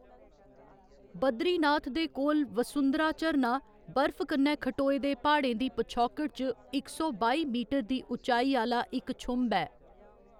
बद्रीनाथ दे कोल वसुधारा झरना, बरफ कन्नै खट्टोए दे प्हाड़ें दी पछौकड़ च इक सौ बाई मीटर दी उच्चाई आह्‌‌‌ला इक छुंभ ऐ।